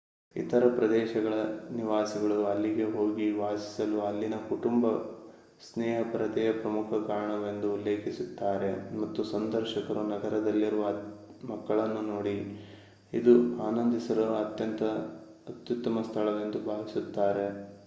ಇತರ ಪ್ರದೇಶಗಳ ನಿವಾಸಿಗಳು ಅಲ್ಲಿಗೆ ಹೋಗಿ ವಾಸಿಸಲು ಅಲ್ಲಿನ ಕುಟುಂಬ-ಸ್ನೇಹಪರತೆಯೇ ಪ್ರಮುಖ ಕಾರಣವೆಂದು ಉಲ್ಲೇಖಿಸುತ್ತಾರೆ ಮತ್ತು ಸಂದರ್ಶಕರು ನಗರದಲ್ಲಿರುವ ಮಕ್ಕಳನ್ನು ನೋಡಿ ಇದು ಆನಂದಿಸಲು ಅತ್ಯುತ್ತಮ ಸ್ಥಳವೆಂದು ಭಾವಿಸುತ್ತಾರೆ